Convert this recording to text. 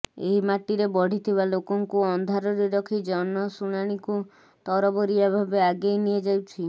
ଏହି ମାଟିରେ ବଢିଥିବା ଲୋକଙ୍କୁ ଅନ୍ଧାରରେ ରଖି ଜନଶୁଣାଣୀକୁ ତରବରିଆ ଭାବେ ଆଗେଇ ନିଆଯାଉଛି